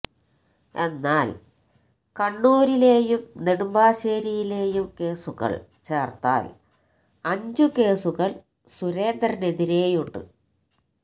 എന്നാല് കണ്ണൂരുലേയും നെടുമ്പാശേരിയിലേയും കേസുകള് ചേര്ത്താല് അഞ്ച് കേസുകള് സുരേന്ദ്രനെതിരെയുണ്ട്